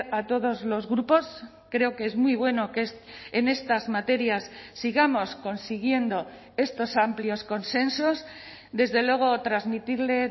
a todos los grupos creo que es muy bueno que en estas materias sigamos consiguiendo estos amplios consensos desde luego transmitirle